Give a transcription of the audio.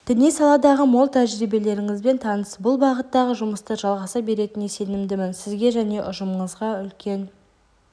діни саладағы мол тәжірибелеріңізбен таныс бұл бағыттағы жұмыстар жалғаса беретініне сенімдімін сізге және ұжымыңызға үлкен